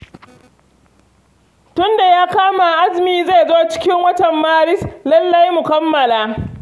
Tun da ya kama azumi zai zo cikin watan Maris, lalle mu kammala.